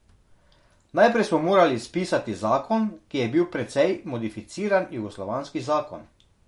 Najprej smo morali spisati zakon, ki je bil precej modificiran jugoslovanski zakon.